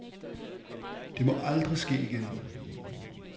Det må aldrig ske igen.